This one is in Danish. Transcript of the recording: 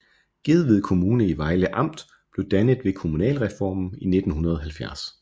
Gedved Kommune i Vejle Amt blev dannet ved kommunalreformen i 1970